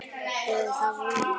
Eða það vona ég